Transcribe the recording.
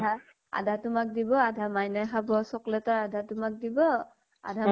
আধা তোমাক দিব আধা মাইনাই খাব । chocolate ৰ আধা তোমাক দিব, আধা